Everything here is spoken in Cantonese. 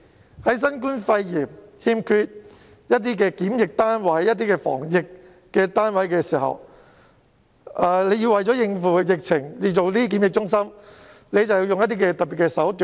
面對新冠肺炎疫情，檢疫及防疫單位不足，政府要為應付疫情而興建檢疫中心，便必須採用特別手段。